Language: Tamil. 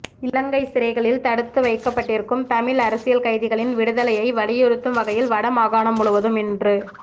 இலங்கை சிறைகளில் தடுத்து வைக்கப்பட்டிருக்கும் தமிழ் அரசியல் கைதிகளின் விடுதலையை வலியுறுத்தும் வகையில் வடமாகாணம் முழுவதும் இன்று